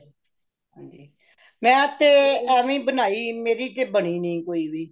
ਹਾਂਜੀ ,ਮੈ ਤੇ ਐਵੇ ਹੀ ਬਨਾਈ ,ਮੇਰੀ ਤੇ ਬਨੀ ਨਹੀਂ ਕੋਈ ਵੀ